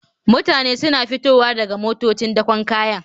Mutane suna fitowa daga motocin dakon kaya